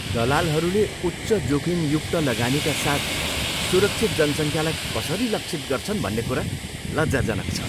दलालहरूले उच्च जोखिमयुक्त लगानीका साथ सुरक्षित जनसङ्ख्यालाई कसरी लक्षित गर्छन् भन्ने कुरा लज्जाजनक छ।